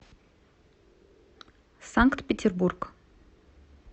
санкт петербург